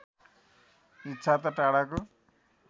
इच्छा त टाढाको